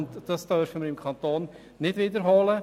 Wir dürfen dies im Kanton Bern nicht wiederholen.